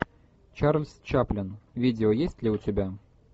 чарльз чаплин видео есть ли у тебя